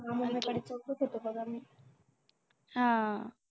हा